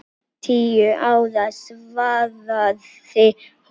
Tíu ára, svaraði hún.